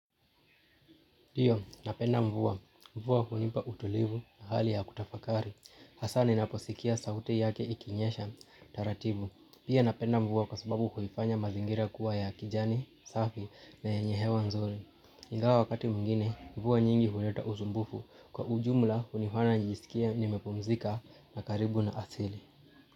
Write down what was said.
Ndio, napenda mvua. Mvua hunipa utulivu na hali ya kutafakari. Hasa ninaposikia sauti yake ikinyesha taratibu. Pia napenda mvua kwa sababu kuifanya mazingira kuwa ya kijani, safi na yenye hewa nzuri. Ingawa wakati mwingine, mvua nyingi huleta usumbufu. Kwa ujumla hunifanya nijisikie nimepumzika na karibu na asili.